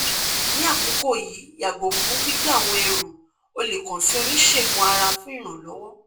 ni akoko yii yago fun gbigbe awọn ẹru o le kan si onisegun-ara fun iranlọwọ